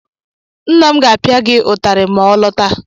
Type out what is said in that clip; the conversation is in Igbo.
Nna m ga-apịa gị ụtarị ma ọ lọta.